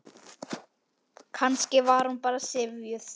Kannski var hún bara syfjuð.